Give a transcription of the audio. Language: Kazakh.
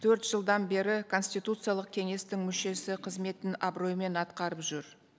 төрт жылдан бері конституциялық кеңестің мүшесі қызметін абыроймен атқарып жүр